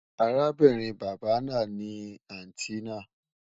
Àràbìnrin baba náà ni àntí náà